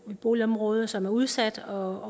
et boligområde som er udsat og